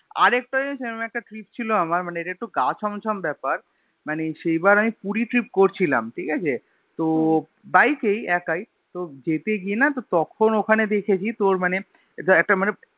আর একটা জানিস এরম একটা trip ছিল আমার মানে এটা একটু গা ছম ছম বেপার মানে সেই বার আমি পুরী trip করছিলাম ঠিকাছে তো বাইক এই একাই তো যেতে গিয়েনা তো তখন ওখানে দেখেছি তোর মানে একটা মানে